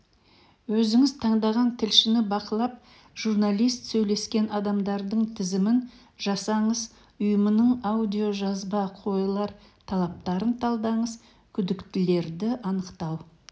өзіңіз таңдаған тілшіні бақылап журналист сөйлескен адамдардың тізімін жасаңыз ұйымының аудиожазба қойылар талаптарын талдаңыз күдіктілерді анықтау